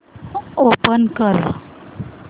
open कर